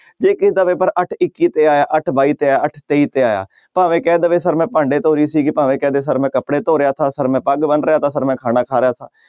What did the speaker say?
ਜੇ ਕਿਸੇ ਦਾ ਪੇਪਰ ਅੱਠ ਇੱਕੀ ਤੇ ਆਇਆ ਅੱਠ ਬਾਈ ਤੇ ਆਇਆ ਅੱਠ ਤੇਈ ਤੇ ਆਇਆ, ਭਾਵੇਂ ਕਹਿ ਦੇਵੇ ਸਰ ਮੈਂ ਭਾਂਡੇ ਧੋ ਰਹੀ ਸੀਗੀ ਭਾਵੇਂ ਕਹਿ ਦੇ ਸਰ ਮੈਂ ਕੱਪੜੇ ਧੋ ਰਿਹਾ ਸਾ ਸਰ ਮੈਂ ਪੱਗ ਬੰਨ ਰਿਹਾ ਸਾ ਮੈਂ ਖਾਣਾ ਖਾ ਰਿਹਾ ਸਾ।